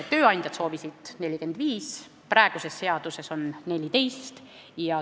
Tööandjad soovisid 45 päeva, praeguses seaduses on 14.